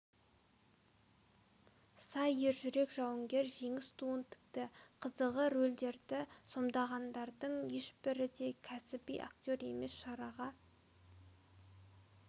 сай ержүрек жауынгер жеңіс туын тікті қызығы рольдерді сомдағандардың ешбірі де кәсіби актер емес шараға